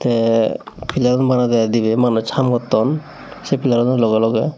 te pillar un banade dibi manuj ham gotton se pillar uno logey logey.